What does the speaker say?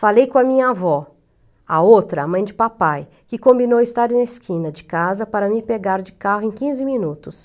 Falei com a minha avó, a outra mãe de papai, que combinou estar na esquina de casa para me pegar de carro em quinze minutos.